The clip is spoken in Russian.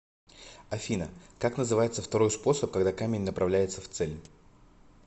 афина как называется второй способ когда камень направляется в цель